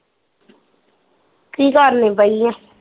ਕੀ ਕਰਣੀ ਪਈ ਐ